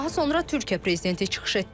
Daha sonra Türkiyə prezidenti çıxış etdi.